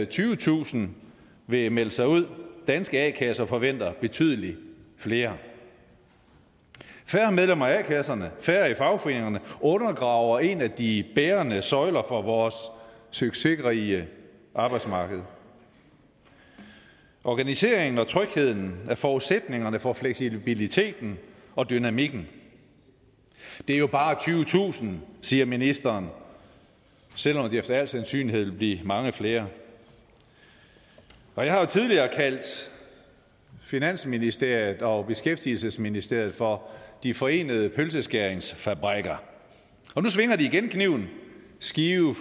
tyvetusind vil melde sig ud danske a kasser forventer betydelig flere færre medlemmer af a kasserne færre i fagforeningerne undergraver en af de bærende søjler for vores succesrige arbejdsmarked organiseringen og trygheden er forudsætningerne for fleksibiliteten og dynamikken det er jo bare tyvetusind siger ministeren selv om det efter al sandsynlighed vil blive mange flere og jeg har jo tidligere kaldt finansministeriet og beskæftigelsesministeriet for de forenede pølseskæringsfabrikker og nu svinger de igen kniven skive